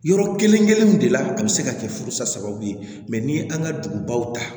Yɔrɔ kelen kelenw de la a bi se ka kɛ furusa sababu ye ni ye an ka dugubaw ta